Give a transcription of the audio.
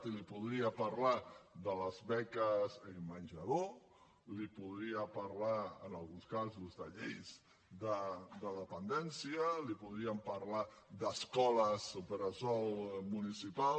i li podria parlar de les beques menjador li podria parlar en alguns casos de lleis de dependència li podríem parlar d’escoles bressol municipals